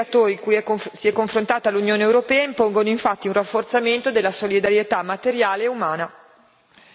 I forti flussi migratori cui si è confrontata l'Unione europea impongono infatti un rafforzamento della solidarietà materiale e umana.